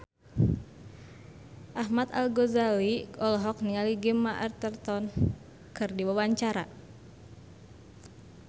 Ahmad Al-Ghazali olohok ningali Gemma Arterton keur diwawancara